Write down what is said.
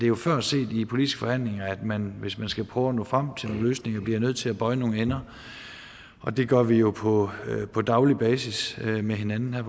jo før set i politiske forhandlinger at man hvis man skal prøve at nå frem til nogle løsninger bliver nødt til at bøje nogle ender og det gør vi jo på på daglig basis med hinanden her